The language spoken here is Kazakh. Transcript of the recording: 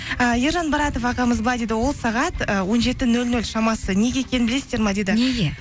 ііі ержан баратов ағамыз былай дейді ол сағат і он жеті нөл нөл шамасы неге екенін білесіздер ме дейді неге